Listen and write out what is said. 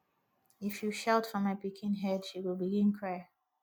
if you shout for my pikin head she go begin cry